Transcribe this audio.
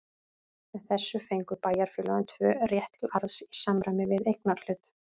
Með þessu fengu bæjarfélögin tvö rétt til arðs í samræmi við eignarhlut.